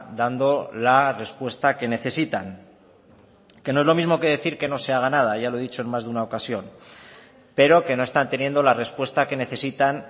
dando la respuesta que necesitan que no es lo mismo que decir que no se haga nada ya lo he dicho en más de una ocasión pero que no están teniendo la respuesta que necesitan